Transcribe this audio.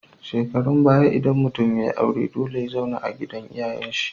Shekarun baya idan mutun yayi aure dole ya zauna a gidan iyayan shi